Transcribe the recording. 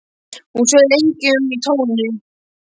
Hún sveif lengi um í tómi.